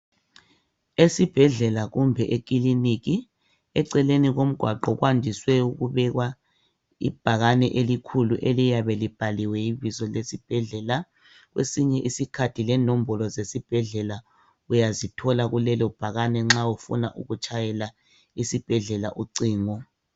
Esibhedlela kumbe ekiliniki eceleni komgwaqo kwandise ukubekwa ibhakane elikhulu eliyabe libhaliwe ibizo lesibhedlela. Kwesinye isikhathi lenombolo zesibhedlela uyazithola kulelo bhakane nxa ufuna ukutshayela isibhedlela ucingo.